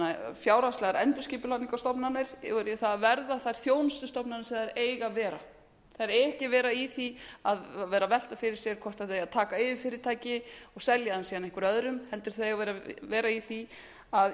það fjárhagslegar endurskipulagningarstofnanir yfir í það að verða þær þjónustustofnanir sem þær eiga að vera þær eiga ekki að vera í því að vera að velta fyrir sér hvort þær eigi að taka yfir fyrirtæki og selja þau síðan einhverjum öðrum heldur eiga þau að